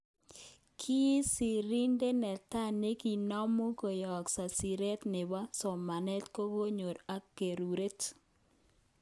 kisiridet netai nekinomu koyesho siret nebo ,somanet ,kekergonk ak keureren.